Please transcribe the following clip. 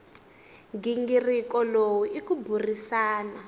nghingiriko lowu i ku burisana